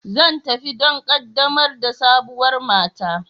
Zan tafi don ƙaddamar da sabuwar mata.